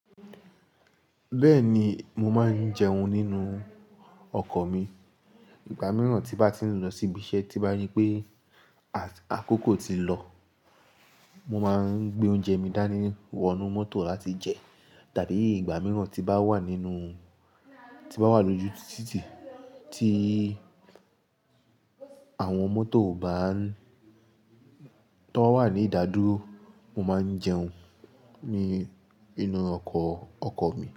Bẹ́ẹ̀ni, mo máa ń jẹun nínú ọkọ̀ mi. Ìgbà mìíràn tí n bá ti ń lọ sí ibi iṣẹ́ tí bá rii pé àkókò ti lọ, mo máa ń gbé oúnjẹ mi dání wọnú mọ́tò láti jẹ. Tàbí ìgbà mìíràn tí bá wà nínú, tí n bá wà lójú títì tí àwọn mọ́tò bá ń, tó n ba wà ní ìdádúró, mo máa ń jẹun ní inú ọkọ̀, ọkọ̀ mi.